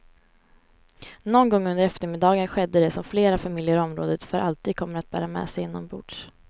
Någon gång under eftermiddagen skedde det som flera familjer i området för alltid kommer att bära med sig inombords.